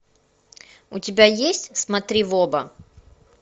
у тебя есть смотри в оба